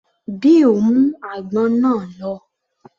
Bill mú àgbọn náà lọ